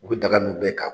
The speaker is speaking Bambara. U bɛ daga min bɛɛ kan